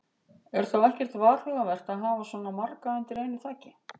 Er þá ekkert varhugavert að hafa svona marga undir einu þaki?